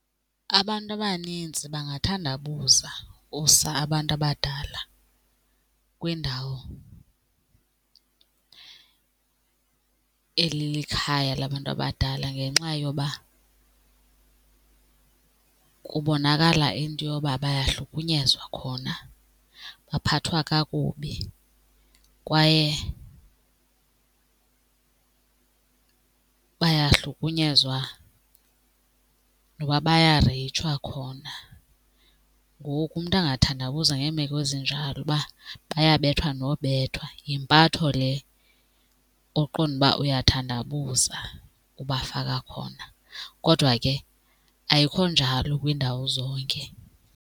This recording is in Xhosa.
Abantu abanintsi bangathandabuza usa abantu abadala kwindawo elikhaya labantu abadala ngenxa yoba kubonakala into yoba bayahlukunyezwa khona, baphathwa kakubi kwaye bayahlukunyezwa noba bayareyitshwa khona. Ngoku umntu angathandabuza ngeemeko ezinjalo uba bayabethwa nobethwa, yimpatho le oqonda uba uyathandabuza ubafaka khona. Kodwa ke ayikho njalo kwiindawo zonke.